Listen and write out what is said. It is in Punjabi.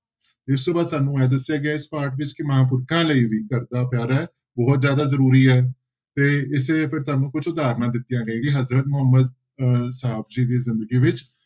ਇਸ ਤੋਂ ਬਾਅਦ ਸਾਨੂੰ ਇਹ ਦੱਸਿਆ ਗਿਆ ਹੈ ਇਸ ਪਾਠ ਵਿੱਚ ਕਿ ਮਹਾਂਪੁਰਖਾਂ ਲਈ ਵੀ ਘਰਦਾ ਪਿਆਰ ਹੈ ਬਹੁਤ ਜ਼ਿਆਦਾ ਜ਼ਰੂਰੀ ਹੈ ਤੇ ਇਸੇ ਫਿਰ ਤੁਹਾਨੂੰ ਕੁਛ ਉਦਾਹਰਨਾਂ ਦਿੱਤੀਆਂ ਗਈਆਂ ਕਿ ਹਜ਼ਰਤ ਮੁਹੰਮਦ ਅਹ ਸਾਹਬ ਜੀ ਦੀ ਜ਼ਿੰਦਗੀ ਵਿੱਚ